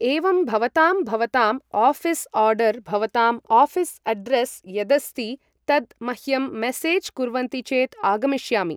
एवम् भवतां भवतां ओऴिस् ओर्डर् भवतां ओऴीस् अड्रेस् यदस्ति तद् मह्यं मेसेज् कुर्वन्ति चेत् आगमिष्यामि